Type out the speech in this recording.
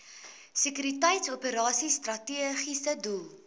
sekuriteitsoperasies strategiese doel